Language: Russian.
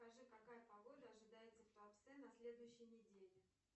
скажи какая погода ожидается в туапсе на следующей неделе